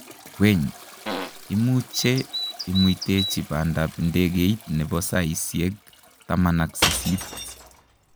weny imuche imuitechi pandap indegeit nepo saisieg taman ak sisit